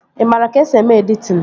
Ị maara ka-esi eme editin?